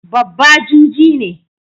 Babba juji ne.